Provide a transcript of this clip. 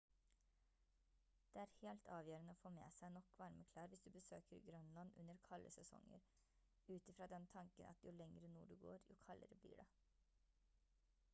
det er helt avgjørende å få med seg nok varme klær hvis du besøker grønland under kalde sesonger ut i fra den tanken at jo lenger nord du går jo kaldere blir det